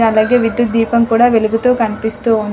అలాగే విద్యుత్ దీపం కుడా వెలుగుతూ కనిపిస్తూ ఉంది.